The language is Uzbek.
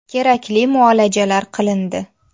Kerakli muolajalar qilindi.